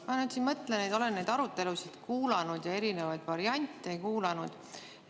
Ma nüüd siin mõtlen, olen neid arutelusid kuulanud ja erinevaid variante kuulanud.